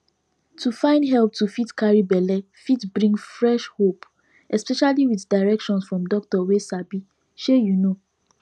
to find help to fit carry belle fit bring fresh hope especially with direction from doctor wey sabishey you know